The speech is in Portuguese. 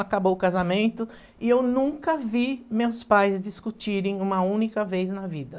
Acabou o casamento e eu nunca vi meus pais discutirem uma única vez na vida.